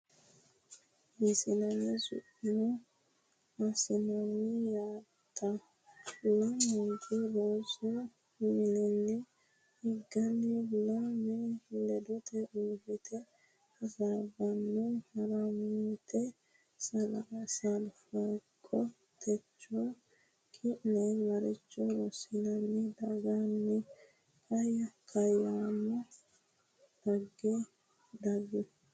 Hiissine sumuu assinanni yaatta? Lamunku rosu mininni higganni lami ledote uurrite hasaabbanno Harmiite Salfaaqo techo ki’ne maricho rossine daggini? Kaayyamo dhagge daggu?